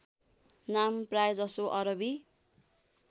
नाम प्रायजसो अरबी